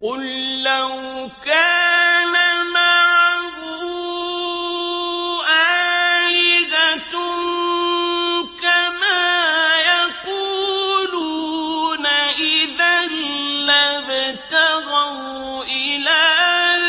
قُل لَّوْ كَانَ مَعَهُ آلِهَةٌ كَمَا يَقُولُونَ إِذًا لَّابْتَغَوْا إِلَىٰ